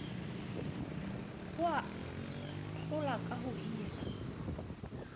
ho ahlola ka ho hirwa